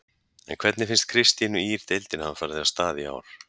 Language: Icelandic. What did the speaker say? En hvernig finnst Kristínu Ýr deildin hafa farið af stað í ár?